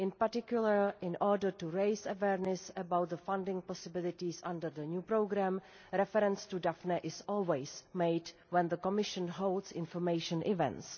In particular, in order to raise awareness about the funding possibilities under the new programme, reference to Daphne is always made when the Commission holds information events.